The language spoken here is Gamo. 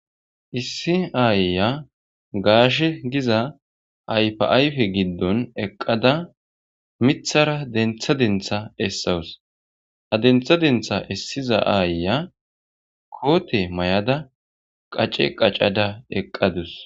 Issi aayyiya gaashe giza ayfe ayifa giddon eqada mithara dentha dentha essaws. Ha dentha dentha essiza aayya kooti mayada qace qacada eqadasu.